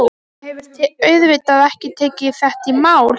Mamma hefur auðvitað ekki tekið þetta í mál.